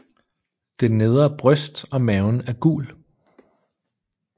Det nedre bryst og maven er gul